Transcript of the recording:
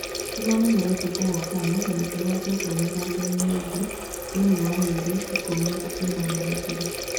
Nĩmamenyerete kũhotana na matihotetwo mĩthakoinĩ mĩingĩ thĩinĩ wa mĩeri ikũmi na ĩnana mĩthiru.